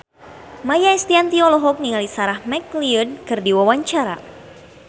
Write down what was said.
Maia Estianty olohok ningali Sarah McLeod keur diwawancara